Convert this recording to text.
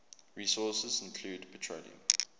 resources include petroleum